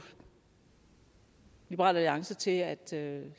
liberal alliance til at